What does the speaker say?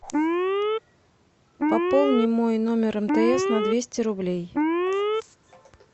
пополни мой номер мтс на двести рублей